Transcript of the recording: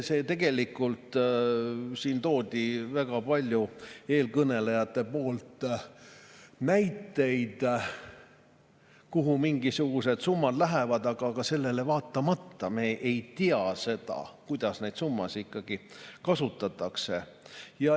Siin tõid väga paljud eelkõnelejad näiteid, kuhu mingisugused summad lähevad, aga sellele vaatamata me ei tea seda, kuidas neid summasid ikkagi kasutatakse.